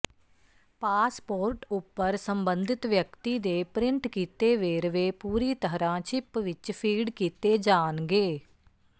passport ਉਪਰ ਸਬੰਧਤ ਵਿਅਕਤੀ ਦੇ ਪ੍ਰਿੰਟ ਕੀਤੇ ਵੇਰਵੇ ਪੂਰੀ ਤਰ੍ਹਾਂ ਚਿੱਪ ਵਿਚ ਫੀਡ ਕੀਤੇ ਜਾਣਗੇ